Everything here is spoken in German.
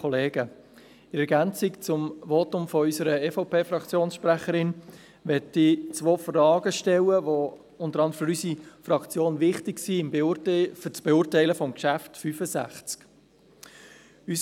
In Ergänzung zum Votum unserer EVP-Fraktionssprecherin möchte ich zwei Fragen stellen, die unter anderem für unsere Fraktion für die Beurteilung von Traktandum 65 wichtig sind.